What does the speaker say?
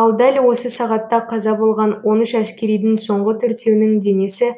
ал дәл осы сағатта қаза болған он үш әскеридің соңғы төртеуінің денесі